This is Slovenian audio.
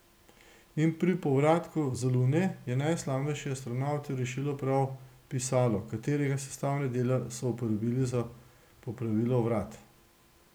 In pri povratku z Lune je najslavnejše astronavte rešilo prav pisalo, katerega sestavne dele so uporabili za popravilo vrat.